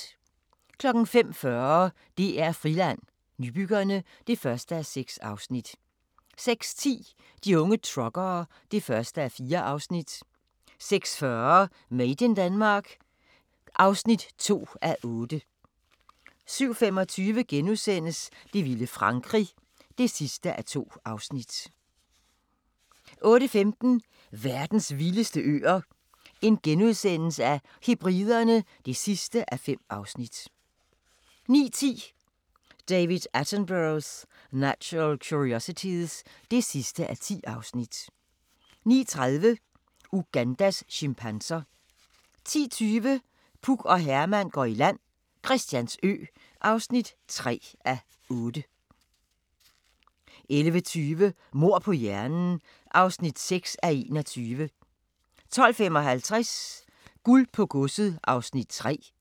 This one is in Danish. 05:40: DR-Friland: Nybyggerne (1:6) 06:10: De unge truckere (1:4) 06:40: Made in Denmark (2:8) 07:25: Det vilde Frankrig (2:2)* 08:15: Verdens vildeste øer - Hebriderne (5:5)* 09:10: David Attenborough's Natural Curiosities (10:10) 09:30: Ugandas chimpanser 10:20: Puk og Herman går i land - Christiansø (3:8) 11:20: Mord på hjernen (6:21) 12:55: Guld på godset (3:8)